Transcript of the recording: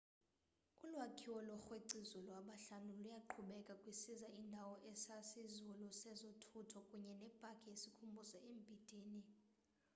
ulwakhiwo lookrwec'izulu abahlanu luyaqhubeka kwisiza indawo esisazulu sezothutho kunye nepaki yesikhumbuzo embindini